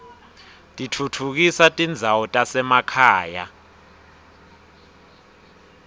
titfutfukisa tindzawo tasemakhaya